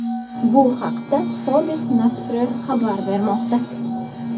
Bu haqda Forbes nashri xabar bermoqda .